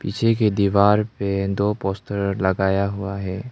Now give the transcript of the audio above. पीछे कि दीवार पे दो पोस्टर लगाया हुआ है।